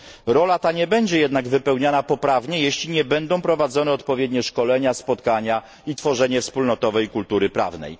Rola ta nie będzie jednak poprawnie wypełniana, jeśli nie będą prowadzone odpowiednie szkolenia, spotkania i tworzenie wspólnotowej kultury prawnej.